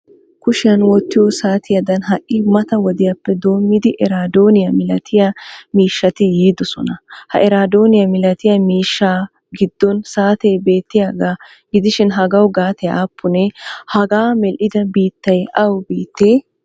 Kushiyan wottiyo saatiyadan hai mata wodiyappe doommmidi eradooniyaa milatiya miishshati yiidosona. Ha iradooniyaa milatiya miishsha giddon saate beetiyaaga gidishin hagaawu gate appune? Hagaa medhdhida biittay awa biittee?